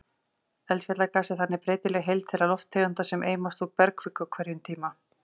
Eldfjallagas er þannig breytileg heild þeirra lofttegunda sem eimast úr bergkviku á hverjum tíma.